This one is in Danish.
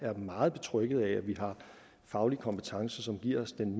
jeg er meget betrygget af at vi har faglig kompetence som giver os den